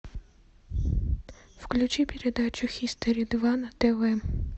включи передачу хистори два на тв